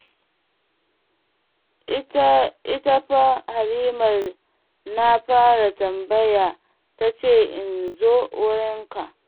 Ita fa Halimar na fara tambaya ta ce in zo wurinka.